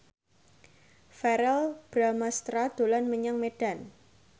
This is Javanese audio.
Verrell Bramastra dolan menyang Medan